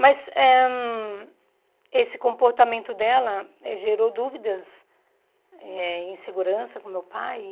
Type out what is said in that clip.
Mas eh esse comportamento dela gerou dúvidas, eh insegurança com meu pai.